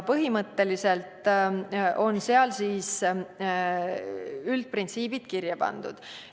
Põhimõtteliselt on seal üldprintsiibid kirja pandud.